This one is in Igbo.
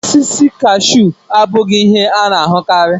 Osisi kashu abụghị ihe a na-ahụkarị.